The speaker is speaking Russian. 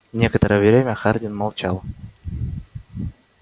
некоторое время хардин молчал